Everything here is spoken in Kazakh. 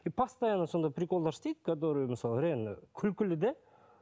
и постоянно сондай приколдар істейді который мысалы реально күлкілі де